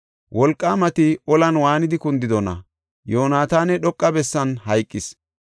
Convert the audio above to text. Wolqaamati olan waanidi kundidona? Yoonataani dhoqa bessan hayqis.